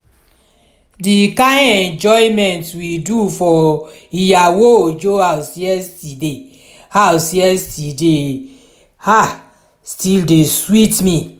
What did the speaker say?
the kyn enjoyment we do for iyawo ojo house yesterday house yesterday um still dey sweet me